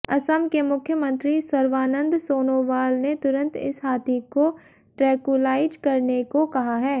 असम के मुख्यमंत्री सर्वानंद सोनोवाल ने तुरंत इस हाथी को ट्रेंकुलाइज करने को कहा है